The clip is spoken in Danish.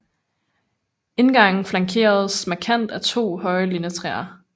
Indgangen flankeres markant af to høje lindetræer